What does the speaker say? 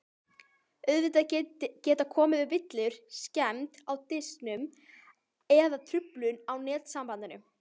Auðvitað geta komið upp villur, skemmd í diskinum eða truflun á netsambandinu.